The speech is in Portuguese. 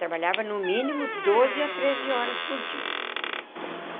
Trabalhava no mínimo doze a treze horas por dia.